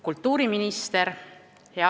Kultuuriminister!